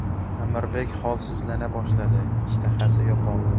Amirbek holsizlana boshladi, ishtahasi yo‘qoldi.